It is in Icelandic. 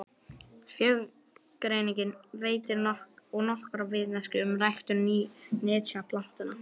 Frjógreiningin veitir og nokkra vitneskju um ræktun nytjaplantna.